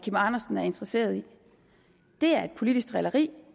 andersen er interesseret i det er et politisk drilleri